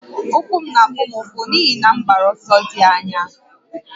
Ụkwụ m na-afụ m ụfụ n'ihi na m gbara ọsọ dị anya